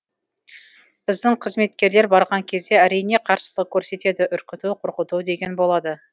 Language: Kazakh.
біздің қызметкерлер барған кезде әрине қарсылық көрсетеді үркіту қорқыту деген болады